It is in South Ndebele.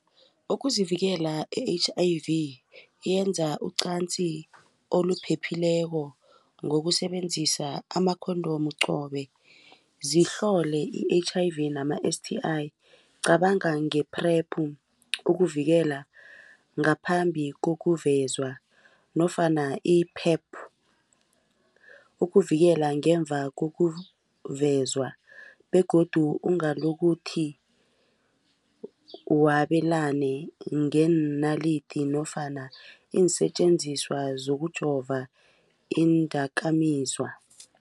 Ukuzivikela e-H_I_V yenza uqanzi olupheleko ngokusebenzisa ama-condom qobe zihlole i-H_I_V nama-S_T_I cabanga nge-PrEP ukuvikela ngaphambi kokuvezwa nofana i-PEP ukuvikela ngemva kokuvezwa begodu ungalokuthi wabelane ngeenalidi nofana iinsetjenziswa zokujova iindakamizwa.